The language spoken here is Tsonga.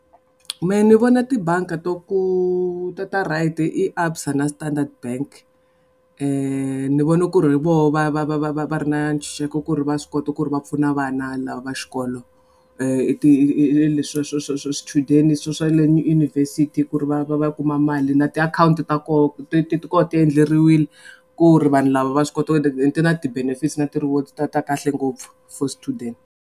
Mehe ni vona tibangi to ku to ta right i ABSA na Standard Bank ni vone ku ri voho va va va va va va ri na ntshunxeko ku ri va swi kota ku ri va pfuna vana lava va xikolo i ti hi leswa swa swichudeni swa swa le yunivhesiti ku ri va va va kuma mali na ti akhawunti ta koho ti ti ti ti endleriwile ku ri vanhu lava va swi koti ti na ti-benefit na ti-rewards ta ta kahle ngopfu for student.